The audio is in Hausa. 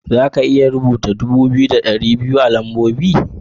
Za ka iya rubuta dubu biyu da ɗari biyu da biyu a lambobi?